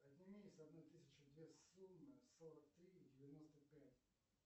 отними с одной тысячи две суммы сорок три и девяносто пять